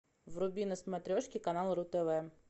вруби на смотрешке канал ру тв